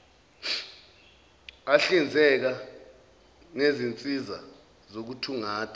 ahlinzeka ngezinsiza zokuthungatha